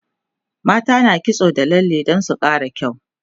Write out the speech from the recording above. mata na kitso da lalle Dan su Kara kyau